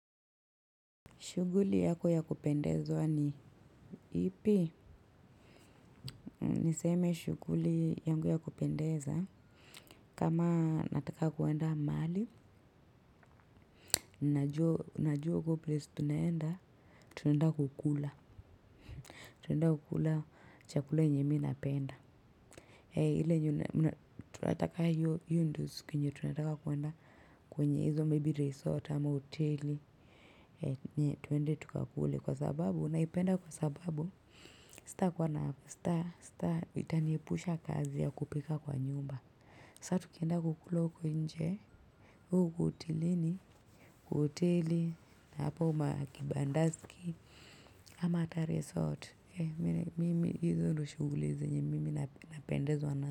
Shughuli yako ya kupendezwa ni ipi. Niseme shughuli yangu ya kupendeza. Kama nataka kuenda mahali. Najua, najua huko place tunaenda. Tunaenda kukula. Tunaenda kukula cha kula yenye mii napenda. Hee ile tunataka hiyo hiyo ndo siku yenye tunataka kwenda kwenye izo maybe resort ama hoteli. Nye twende tukakule kwa sababu na ipenda kwa sababu sita kuwa na sta sta itanie pusha kazi ya kupika kwa nyumba. Sa tukienda kukula huko nje. Uwe uko hotelini, kwa hoteli, na hapo 'makibandaski' ama hata 'resort'. Mimi hizo ndio shughuli zenye mimi napendezwa nazo.